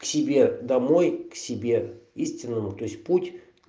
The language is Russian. себе домой к себе истинному то есть путь